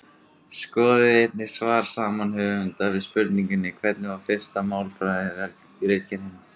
Skoðið einnig svar sama höfundar við spurningunni Hvernig var fyrsta málfræðiritgerðin?